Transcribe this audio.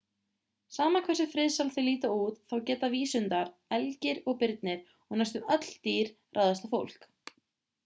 sama hversu friðsæl þau líta út þá geta vísundar elgir og birnir og næstum öll stór dýr ráðist á fólk